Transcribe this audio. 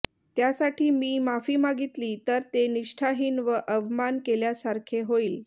त्यासाठी मी माफी मागितली तर ते निष्ठाहीन व अवमान केल्यासारखे होईल